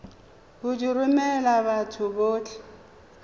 go di romela batho botlhe